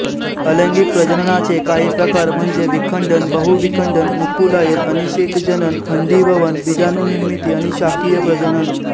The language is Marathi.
अलैंगिक प्रजननाचे काहीं प्रकार म्हणजे विखंडन बहुविखंडन मुकुलायन अनिषेकजनन खंडीभवन बीजाणूनिर्मिती आणि शाकीय प्रजजन